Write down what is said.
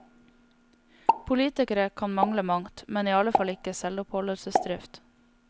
Politikere kan mangle mangt, men iallfall ikke selvoppholdelsesdrift.